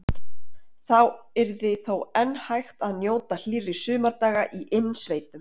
Þá yrði þó enn hægt að njóta hlýrra sumardaga í innsveitum.